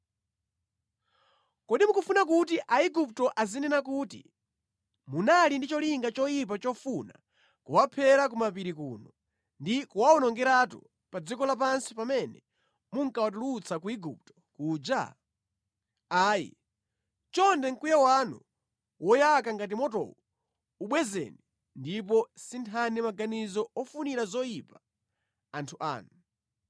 Kodi mukufuna kuti Aigupto azinena kuti, ‘Munali ndi cholinga choyipa chofuna kuwaphera ku mapiri kuno ndi kuwawonongeratu pa dziko lapansi pamene munkawatulutsa ku Igupto kuja?’ Ayi, chonde mkwiyo wanu woyaka ngati motowu ubwezeni ndipo sinthani maganizo ofunira zoyipa anthu anu.